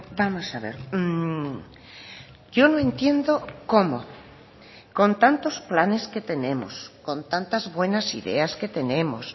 vamos a ver yo no entiendo cómo con tantos planes que tenemos con tantas buenas ideas que tenemos